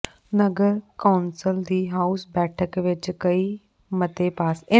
ਨਗਰ council ਦੀ house ਬੈਠਕ ਵਿਚ ਕਈ ਮਤੇ ਪਾਸ